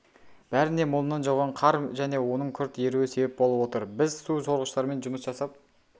бәріне молынан жауған қар және оның күрт еруі себеп болып отыр біз су сорығыштармен жұмыс жасап